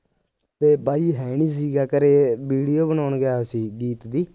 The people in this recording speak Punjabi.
ਤੇ ਬਾਈ ਹੈ ਨਹੀਂ ਸੀਗਾ ਘਰੇ ਵੀਡੀਓ ਬਣਾਉਣ ਗਿਆ ਸੀ ਗੀਤ ਦੀ